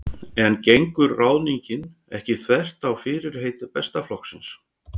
En gengur ráðningin ekki þvert á fyrirheit Besta flokksins?